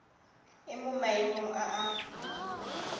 e mo maemong a a